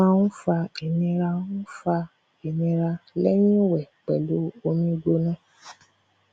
kí ló máa ń fa inira ń fa inira lehin iwe pelu omi gbona